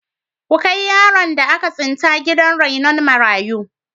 Ku kai yaron da aka tsinta gidan rainon marayu.